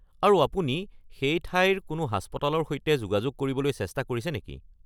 আৰু আপুনি সেই ঠাইৰ কোনো হাস্পতালৰ সৈতে যোগাযোগ কৰিবলৈ চেষ্টা কৰিছে নেকি?